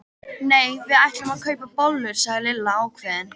Nei, við ætlum að kaupa bollur sagði Lilla ákveðin.